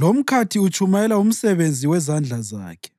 lomkhathi utshumayela umsebenzi wezandla zakhe.